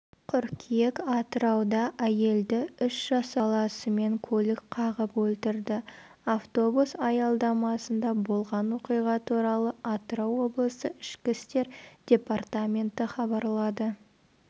қыркүйек атырауда әйелді үш жасар баласымен көлік қағып өлтірді автобус аялдамасында болған оқиға туралы атырау облысы ішкі істер департаменті хабарлады